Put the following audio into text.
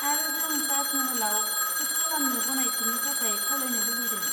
आरो जों ताज महलआव सुट खालामनो गनायथिनि थाखाय खावलायनो लुबैदों।